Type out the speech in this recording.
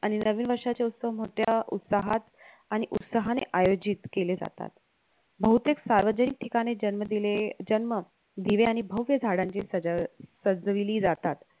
आणि नवीन वर्षाचे उत्सव मोठ्या उत्साहात आणि उत्साहाने आयोजित केले जातात. बहुतेक सार्वजनिक ठिकाणी जन्म दिले जन्म दिवे आणि भव्य झाडांची सज सजविली जातात